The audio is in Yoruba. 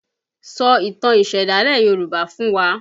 Sọ ìtàn ìsẹ̀dálẹ̀ Yoruba fún wa!